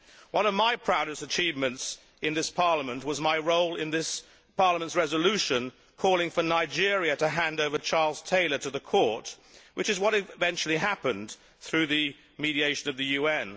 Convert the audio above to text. One of my proudest achievements in this Parliament was my role in this Parliament's resolution calling for Nigeria to hand over Charles Taylor to the Court, which is what eventually happened through the mediation of the UN.